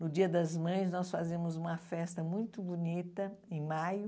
No dia das mães, nós fazíamos uma festa muito bonita, em maio.